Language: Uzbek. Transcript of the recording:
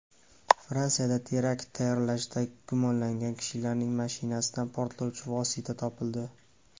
Fransiyada terakt tayyorlashda gumonlangan kishilarning mashinasidan portlovchi vosita topildi.